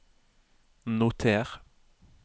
noter